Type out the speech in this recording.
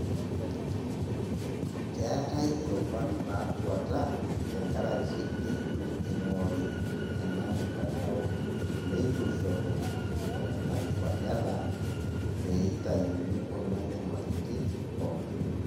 Keetai irubat naatuata tenkaraki neitu eing'ori ena mtandao, neituishoru iltung'anak iwaleta peeitayuni kuna nyamalitin pookin.